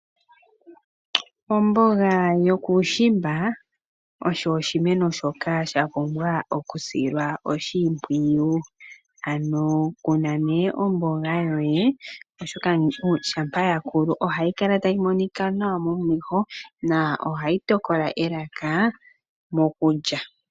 Omboga yokuushimba, osho oshimeno shoka sha pumbwa okusilwa oshimpwiyu. Ano kuna nee omboga yoye oshoka shampa ya koko ohayi kala tayi monika nawa momeho na ohayi tokola elaka mokulya.